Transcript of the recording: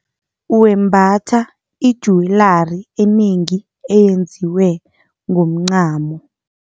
Wembatha ijuwelari enengi eyenziwe ngomncamo.